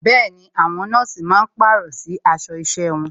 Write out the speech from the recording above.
Bẹẹni, àwọn nọ́ọ̀sì máa pàrọ̀ sí aṣọ isẹ wọn.